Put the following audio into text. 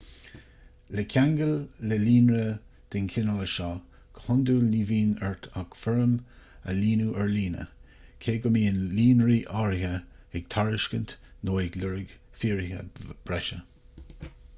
le ceangal le líonra den chineál seo go hiondúil ní bhíonn ort ach foirm a líonadh ar líne cé go mbíonn líonraí áirithe ag tairiscint nó ag lorg fíoraithe breise